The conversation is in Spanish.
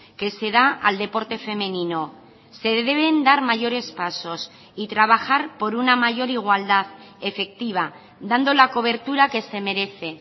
que se da al deporte femenino se deben dar mayores pasos y trabajar por una mayor igualdad efectiva dando la cobertura que se merece